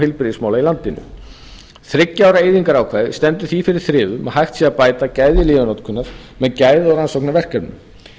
heilbrigðismála í landinu þriggja ára eyðingarákvæðið stendur því fyrir þrifum að hægt sé að bæta gæði lyfjanotkunar með gæða og rannsóknaverkefnum